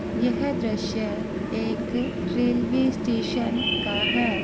यह दृश्य एक रेलवे स्टेशन का है।